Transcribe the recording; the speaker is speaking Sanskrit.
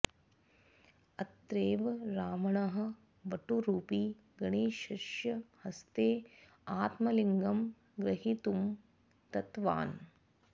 अत्रैव रावणः वटुरुपि गणेशस्य हस्ते आत्मलिङ्गं ग्रहीतुं दत्तवान्